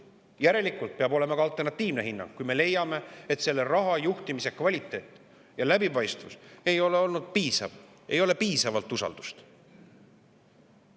Järelikult peab olema ka alternatiivne hinnang, kui me leiame, et selle raha juhtimise kvaliteet ja läbipaistvus ei ole olnud piisav, et ei ole piisavalt usaldust.